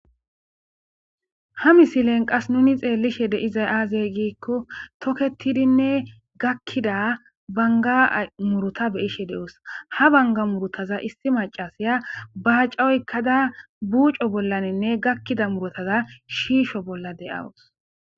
Ha misilen qas nuni xeelishe dizay aaze giiko toketidinne gakida bangga muuruta be'ishe de'os; ha bangga muurutaza issi maccasiya baacca oykada buuco bollaninne gakida muurutaza shiisho bolla de'awus.